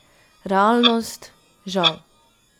Realnost, žal.